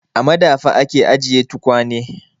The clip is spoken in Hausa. A madafa ake ajiye tukwane.